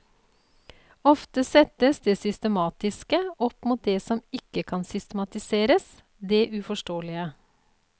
Ofte settes det systematiske opp mot det som ikke kan systematiseres, det uforståelige.